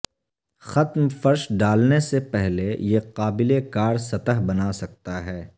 ختم فرش ڈالنے سے پہلے یہ قابل کار سطح بنا سکتا ہے